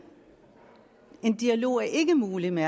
en dialog er ikke mulig med